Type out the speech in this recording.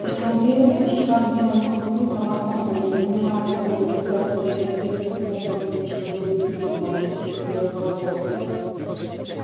эта уверенность пришла к белому клыку сама собой ему не надо было напрягать свои мыслительные способности чтобы убедиться в могуществе белых богов